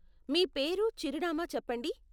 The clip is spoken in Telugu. మీ పేరు, చిరునామా చెప్పండి.